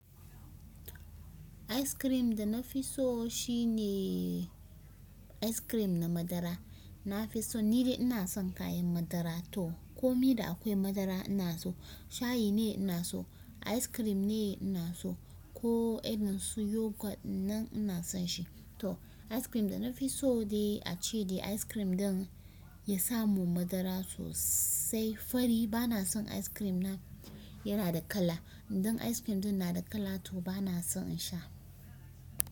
Icecream da na fi so shi ne icecream na madara. Na fi so, ni dai ina son kayan madara to komai da akwai madara ina so. Shayi ne ina so, ice cream ne ina so ko irin su yogurt nan ina son shi. To ice cream da na fi so dai ace dai ice cream ɗin ya samu madara sosai fari. Ba na son ice cream yana da kala. Idan ice cream ɗin na da kala to ba na son in sha.